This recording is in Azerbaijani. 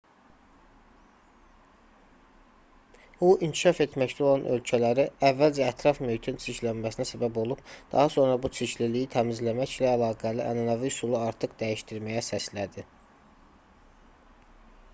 hu inkişaf etməkdə olan ölkələri əvvəlcə ətraf mühitin çirklənməsinə səbəb olub daha sonra bu çirkliliyi təmizləməklə əlaqəli ənənəvi üsulu artıq dəyişdirməyə səslədi